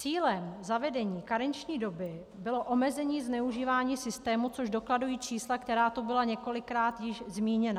Cílem zavedení karenční doby bylo omezení zneužívání systému, což dokladují čísla, která tu byla několikrát již zmíněna.